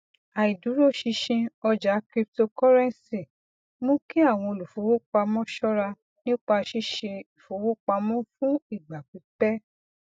àìdúróṣinṣin ọjà cryptocurrency mú kí àwọn olùfowópamọ ṣọra nípa ṣíṣe ìfowópamọ fún ìgbà pípẹ